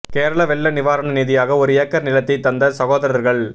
கேரள வெள்ள நிவாரண நிதியாக ஒரு ஏக்கர் நிலத்தை தந்த சகோதரர்கள்